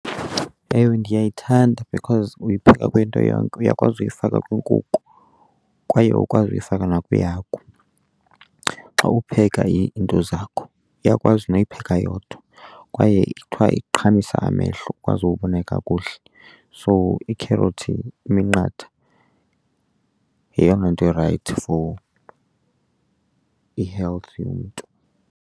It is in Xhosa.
Ewe, ndiyayithanda because uyipheka kwinto yonke. Uyakwazi uyifaka kwiinkukhu kwaye ukwazi uyifaka nakwihagu xa upheka iinto zakho, uyakwazi noyipheka yodwa kwaye ithiwa iqhamisa amehlo ukwazi ukubona kakuhle. So iikherothi, iminqatha, yeyona nto irayithi for i-health yomntu.